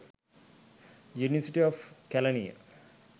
university of kelaniya